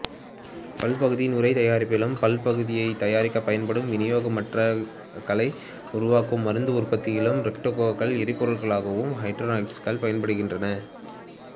பல்பகுதிய நுரைத் தயாரிப்பிலும் பல்பகுதியத்தைத் தயாரிக்கப் பயன்படும் வினைவேகமாற்றிகளை உருவக்கவும் மருந்து உற்பத்தியிலும் ரொக்கட்டுகளில் எரிபொருளாகவும் ஹைட்ரஸைன் பயன்படுகின்றது